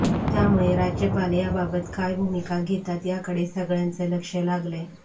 त्यामुळे राज्यपाल याबाबत काय भूमिका घेतात याकडे सगळ्यांचं लक्ष लागलंय